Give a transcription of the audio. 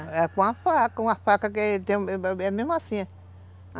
É com a faca, com a faca que é mesmo assim.